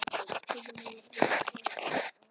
Kaupið er lágt en mórallinn góður, svarar hún.